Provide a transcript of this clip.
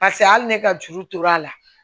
Paseke hali ne ka juru tora a la